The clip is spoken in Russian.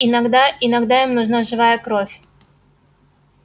иногда иногда им нужна живая кровь